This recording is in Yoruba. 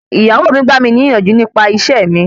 Ìyàwó mi gbà mí ní ìyànjú nípa ìṣe mi.